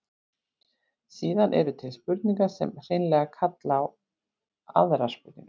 síðan eru til spurningar sem hreinlega kalla á aðrar spurningar